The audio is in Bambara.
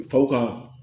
Faw ka